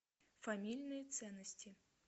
фамильные ценности